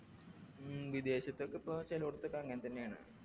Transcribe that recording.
ഉം വിദേശത്തൊക്കെപ്പോ ചേലോടത്തൊക്കെ അങ്ങനെത്തന്നെയാണ്